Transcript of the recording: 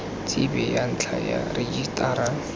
tsebe ya ntlha ya rejisetara